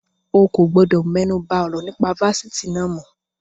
O kò gbọdọ̀ mẹ́nuba ọ̀rọ̀ nípa Fásitì náà mọ́.